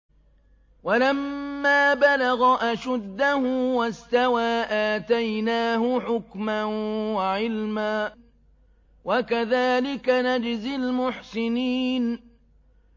وَلَمَّا بَلَغَ أَشُدَّهُ وَاسْتَوَىٰ آتَيْنَاهُ حُكْمًا وَعِلْمًا ۚ وَكَذَٰلِكَ نَجْزِي الْمُحْسِنِينَ